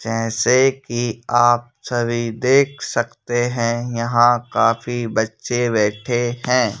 जैसे कि आप सभी देख सकते हैं यहां काफी बच्चे बैठे हैं।